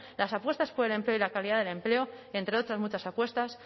las apuestas por el empleo y la calidad del empleo entre otras muchas apuestas